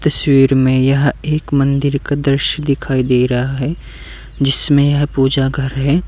तस्वीर में यह एक मंदिर का दृश्य दिखाई दे रहा है जिसमें यह पूजा घर है।